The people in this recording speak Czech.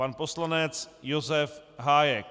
Pan poslanec Josef Hájek.